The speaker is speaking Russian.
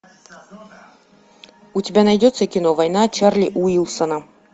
у тебя найдется кино война чарли уилсона